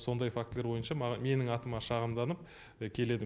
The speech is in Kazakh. сондай фактілер бойынша менің атыма шағымданып келеді